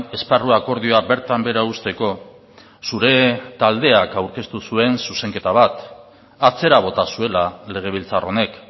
esparru akordioa bertan behera usteko zure taldeak aurkeztu zuen zuzenketa bat atzera bota zuela legebiltzar honek